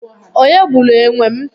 onye gburu enwem?